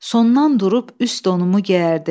Sondan durub üst donumu geyərdim.